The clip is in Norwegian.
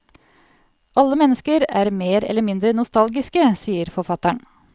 Alle mennesker er mer eller mindre nostalgiske, sier forfatteren.